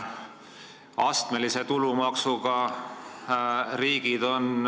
Astmelise tulumaksuga riigid on arenenud ...